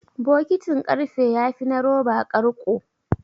Bokitin ƙarfe yafi na roba ƙarƙo.